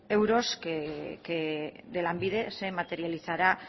euros que de lanbide se materializará